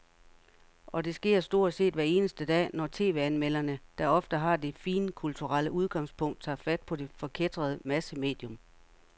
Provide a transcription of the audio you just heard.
Og det sker stort set hver eneste dag, når tv-anmelderne, der ofte har det finkulturelle udgangspunkt, tager fat på det forkætrede massemedium.